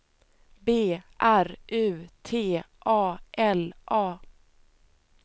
B R U T A L A